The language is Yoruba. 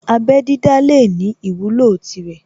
Abẹ́ dídá lè ní ìwúlò tirẹ̀